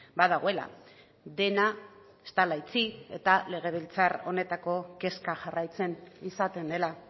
badagoela dena ez dela itxi eta legebiltzar honetako kezka jarraitzen izaten dela